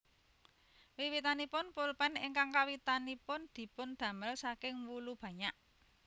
Wiwitanipun pulpen ingkang kawitanipun dipun damel saking wulu banyak